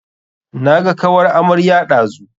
Naga kawar amarya ɗazu.